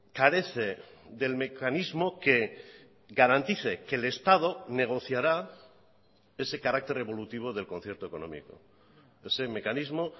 carece del mecanismo que garantice que el estado negociará ese carácter evolutivo del concierto económico ese mecanismo